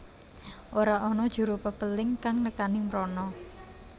Ora ana juru pepéling kang nekani mrono